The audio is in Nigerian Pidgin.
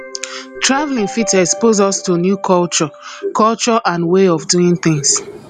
travelling fit expose us to new culture culture and way of doing tins